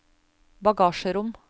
bagasjerom